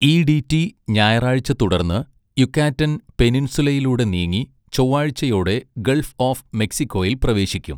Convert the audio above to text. ഇഡിറ്റി ഞായറാഴ്ച, തുടർന്ന് യുകാറ്റൻ പെനിൻസുലയിലൂടെ നീങ്ങി ചൊവ്വാഴ്ചയോടെ ഗൾഫ് ഓഫ് മെക്സിക്കോയിൽ പ്രവേശിക്കും.